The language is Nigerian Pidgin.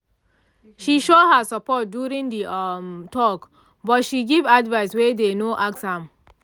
she show her support during the um talk but she give advice wey dey no ask am